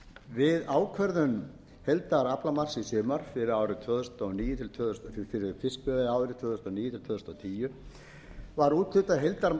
við ákvörðun heildaraflamarks í sumar fyrir fiskveiðiárið tvö þúsund og níu tvö þúsund og tíu var úthlutað heildaraflamarki